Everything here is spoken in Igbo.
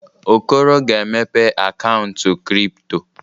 Okoro ga-emepe akaụntụ kripto.